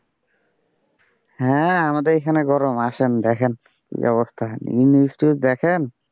হ্যাঁ আমাদের এখানে গরম আসেন দেখেন কি অবস্থা news টিউজ দেখেন?